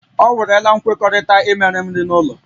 O werela nkwekọrịta imere m nri ụlọ